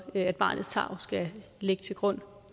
at barnets tarv skal ligge til grund